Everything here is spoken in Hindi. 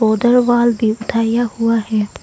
उधर वॉल भी उठाया हुआ है।